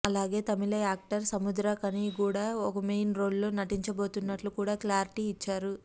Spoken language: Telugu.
అలాగే తమిళ్ యాక్టర్ సముద్రఖనికూడా ఒక మెయిన్ రోల్ లో నటించబోతున్నట్లు కూడా క్లారిటీ ఇచ్చారు